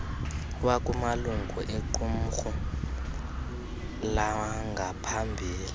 wakumalungu equmrhu langaphambili